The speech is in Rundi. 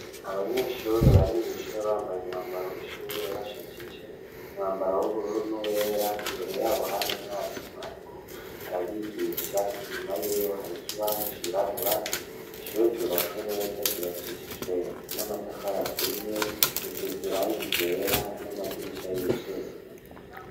Abanyeshure bari mwishure bambaye umwambaro w'ishure bashajije umwambaro w'ubururu n'uwera imbere yabo hari w'umwarimu ariko arabigisha inyuma y'ewe hari kibaho cirabura ishure ryubatswe neza ryubakishijwe n'amatafar aturiye risizwe irangi ryera n'amadirisha y'ivyuma.